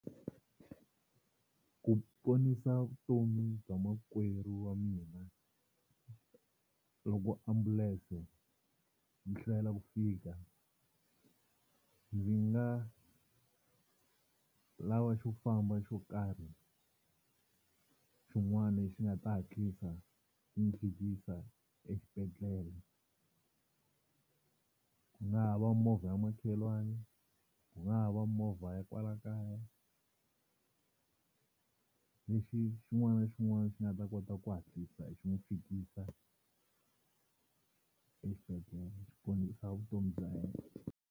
Ku ponisa vutomi bya makwerhu wa mina loko ambulense yi hlwela ku fika, ndzi nga lava xo famba xo karhi xin'wana lexi nga ta hatlisa ku n'wi fikisa exibedhlele ku nga ha va movha ya makhelwani, ku nga ha va movha ya kwala kaya lexi xin'wana na xin'wana xi nga ta kota ku hatlisa xi n'wi fikisa exibedhlele ku ponisa vutomi bya yena.